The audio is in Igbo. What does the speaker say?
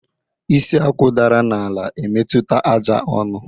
Isi Akwụ dara n'ala, emetụta àjà onu